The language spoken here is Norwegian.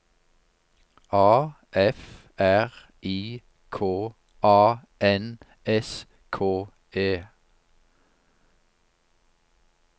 A F R I K A N S K E